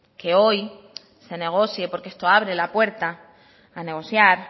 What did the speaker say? que hoy se negocie porque esto abre la puerta a negociar